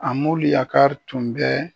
Amoliyakari tun bɛ